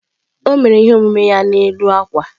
O mere ihe omume ya n'elu akwa.